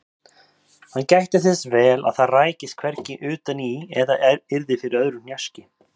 Hann gætti þess vel að það rækist hvergi utan í eða yrði fyrir öðru hnjaski.